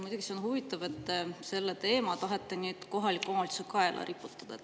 Muidugi on huvitav, et te tahate selle teema kohalike omavalitsuste kaela riputada.